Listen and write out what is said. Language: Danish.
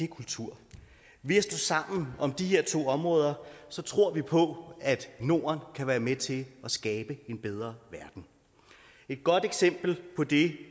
kultur ved at stå sammen om de her to områder tror vi på at norden kan være med til at skabe en bedre verden et godt eksempel på det